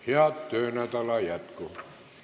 Head töönädala jätku!